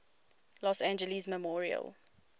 los angeles memorial